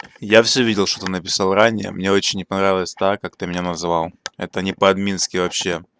я всё видел что ты написал ранее мне очень не понравилось так как ты меня назвал это не по-админски вообще